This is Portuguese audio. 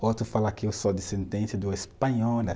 Outro fala que eu sou descendente do espanhola